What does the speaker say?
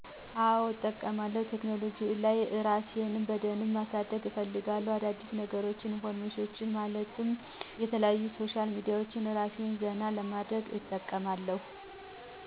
አዎ እጠቀማለሁ ቴክኖሉጂ ላይ እራሴን በደንብ ማሳደግ ሰለምፈልግ አዳዲስነገሮች ኢንፎርሜሽኔችን ለማየት የተለያዩ ሶሻል ሚዲያዎች እራሴን ዘና ለማድረግ እጠቀማለሁ።